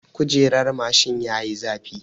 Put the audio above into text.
Kujerar mashin yayi zafi.